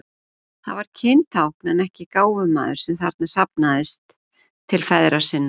Það var kyntákn en ekki gáfumaður sem þarna safnaðist til feðra sinna.